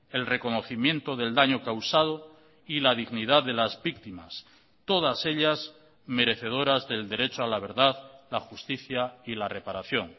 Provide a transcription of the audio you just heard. el reconocimiento del daño causado y la dignidad de las víctimas todas ellas merecedoras del derecho a la verdad la justicia y la reparación